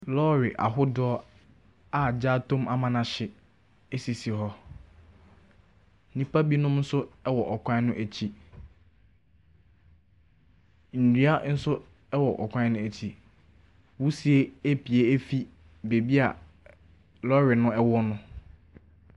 Lɔɔre ahodoɔ a agya atɔ mu ama no ahyew sisi hɔ. Nnipa binom nso wɔ kwan no akyi. Nnua nso kwan no akyi. Wusie apue efi baabi a lɔɔre no wɔ no.